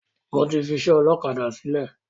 Mo ti fi ìṣe ọlọ́kadà sìlẹ̀